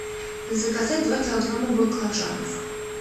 заказать два килограмма баклажанов